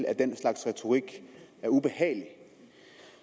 at den slags retorik er ubehagelig